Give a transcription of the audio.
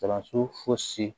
Kalanso fosi